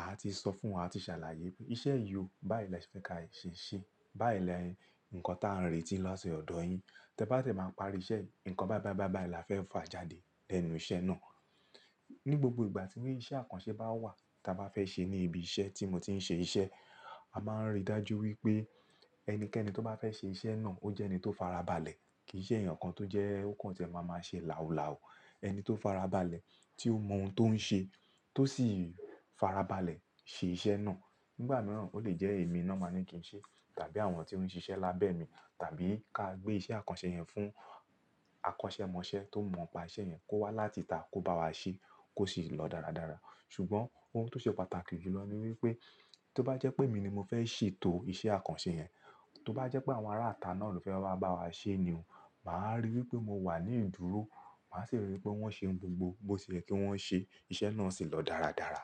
àá ti sọ fún wọn, á ti ṣàlàyé pé iṣẹ́ yiò bái la ṣe fẹ ka ṣe, bai ni ǹkan táà ń retí láti ọ̀dọ̀ yín. Tẹ́ bá dẹ máa parí iṣẹ́, ǹkan báí báí báí báí la fẹ́ fà jáde lẹ́nu iṣẹ́ náà. Ni gbogbo ìgbà tí iṣẹ́ àkànṣe bá wà ta bá fẹ́ ṣe ní ibi iṣẹ́ tí mo ti ń ṣe iṣẹ́, a máa ń rí dájú wípé ẹnikẹ́ni tó bá fẹ́ ṣe iṣẹ́ náà ó jẹ́ ẹni tó farabalẹ̀, kì í ṣe èèyàn kan tó jẹ́ ó kàn ṣẹ̀ máa máa ṣe làú làú. Ẹni tó farabalẹ̀, tí ó mọ ohun tó ń ṣe, tó sì farabalẹ̀ ṣe iṣẹ́ náà. Nígbà mìíràn ó lè jẹ́ èmi náà màá ní kí n ṣe, tàbí àwọn tí ó ń ṣiṣẹ́ lábẹ́ mi, tàbí ká gbé iṣẹ́ àkànṣe yẹn fún akọ́ṣẹ́mọṣẹ́ tó mọ̀ pa iṣẹ́ yẹn kó wá láti ìta kó bá wa ṣe kó sì lọ dáradára. Ṣùgbọ́n ohun tó ṣe pàtàkì jù lọ ni wípé tó bá jẹ́ pé èmi ni mo fẹ́ ṣètò iṣẹ́ àkànṣe yẹn, tó bá jẹ́ pé àwọn ará ata náà ló fẹ́ wá bá wa ṣe ni òun, màá rí wípé mo wà ní ìdúró, màá sì rí wípé wọ́n ṣe ohun gbogbo bó ṣe yẹ kí wọ́n ṣe, iṣẹ́ náà sì lọ dáradára.